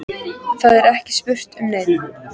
Það er ekki spurt um neitt.